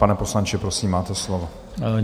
Pane poslanče, prosím, máte slovo.